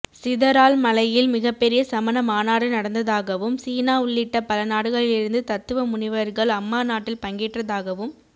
சிதரால் மலையில் மிகப்பெரிய சமண மாநாடு நடந்ததாகவும் சீனா உள்ளிட்ட பலநாடுகளிலிருந்து தத்துவ முனிவர்கள் அம்மாநாட்டில் பங்கேற்றதாகவும்